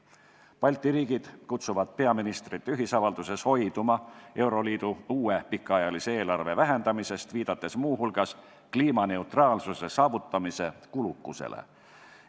Balti riigid kutsuvad peaministrite ühisavalduses hoiduma euroliidu uue pikaajalise eelarve vähendamisest, viidates muu hulgas kliimaneutraalsuse saavutamise kulukusele.